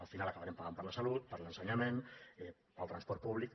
al final acabarem pagant per la salut per l’ensenyament pel transport públic